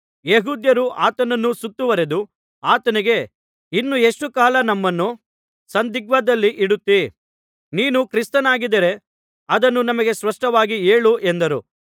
ಯೆಹೂದ್ಯರು ಆತನನ್ನು ಸುತ್ತುವರೆದು ಆತನಿಗೆ ಇನ್ನು ಎಷ್ಟು ಕಾಲ ನಮ್ಮನ್ನು ಸಂದಿಗ್ಧದಲ್ಲಿ ಇಡುತ್ತಿ ನೀನು ಕ್ರಿಸ್ತನಾಗಿದ್ದರೆ ಅದನ್ನು ನಮಗೆ ಸ್ಪಷ್ಟವಾಗಿ ಹೇಳು ಎಂದರು